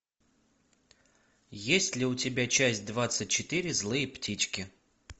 есть ли у тебя часть двадцать четыре злые птички